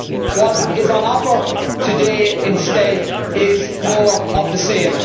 What is on offer today instead is more of the same.